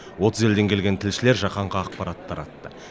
отыз елден келген тілшілер жаһанға ақпарат таратты